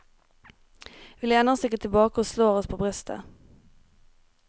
Vi lener oss ikke tilbake og slår oss på brystet.